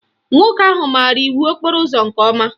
Nwoke ahụ maara iwu okporo ụzọ nke ọma